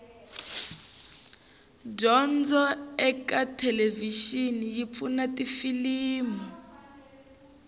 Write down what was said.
dyondzo ekathelevishini yipfuna tifilimu